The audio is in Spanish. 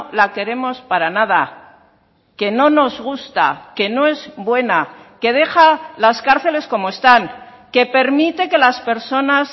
la queremos para nada que no nos gusta que no es buena que deja las cárceles como están que permite que las personas